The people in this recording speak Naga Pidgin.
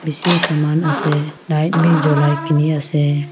bishi saman ase light bhi jolie kini ase.